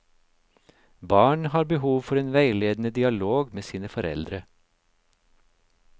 Barn har behov for en veiledende dialog med sine foreldre.